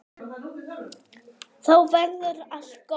Þá verður allt gott.